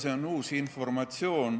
See on uus informatsioon.